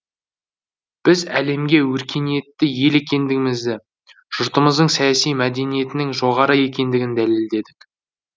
біз әлемге өркениетті ел екендігімізді жұртымыздың саяси мәдениетінің жоғары екендігін дәлелдедік